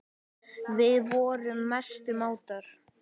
Við vorum mestu mátar.